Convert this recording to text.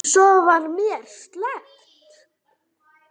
Svo var mér sleppt.